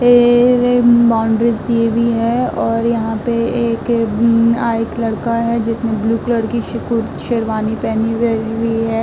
Boundaries दी हुई है और यहां पे एक आ एक लड़का है जिसने ब्लू कलर की शी कुर शेरवानी पहनी हुई है।